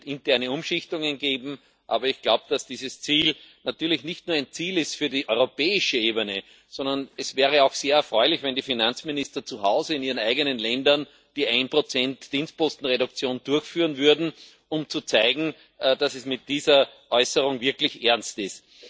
es wird interne Umschichtungen geben. Aber ich glaube, dass dieses Ziel natürlich nicht nur ein Ziel für die europäische Ebene ist, sondern es wäre auch sehr erfreulich, wenn die Finanzminister zu Hause in ihren eigenen Ländern die 1 Dienstpostenreduktion durchführen würden, um zu zeigen, dass es mit dieser Äußerung wirklich ernst ist.